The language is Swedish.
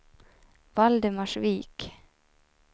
Valdemarsvik